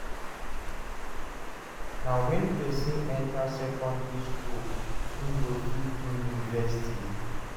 Na when person enter secondary school im go fit go university